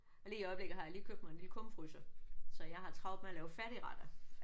Men lige i øjeblikket har jeg lige købt mig en lille kummefryser. Så jeg har travlt med at lave færdigretter